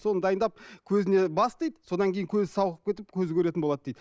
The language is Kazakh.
соны дайындап көзіне бас дейді содан кейін көзі сауығып кетіп көзі көретін болады дейді